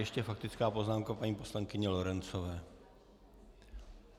Ještě faktická poznámka paní poslankyně Lorencové.